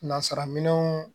Nazaraminɛnw